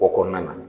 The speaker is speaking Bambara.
O kɔnɔna na